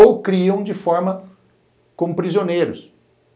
ou criam de forma como prisioneiros.